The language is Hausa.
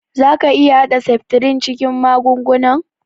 Za ka iƴa hada septrin cikin magungunan?